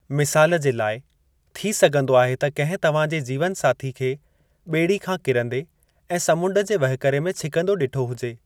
मिसालु जे लाइ, थी सघिंदो आहे त किंहिं तव्हांजे जीवनसाथी खे बे॒ड़ी खां किरंदे ऐं समुंडु जे वहिकरे में छिकंदो डि॒ठो हुजे।